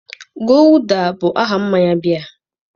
Guulda bụ aha mmanya biya.